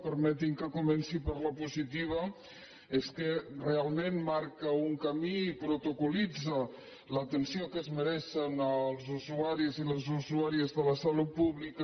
permeti’m que comenci per la positiva que és que real·ment marca un camí protocol·litza l’atenció que es me·reixen els usuaris i les usuàries de la salut pública